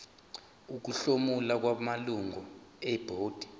ukuhlomula kwamalungu ebhodi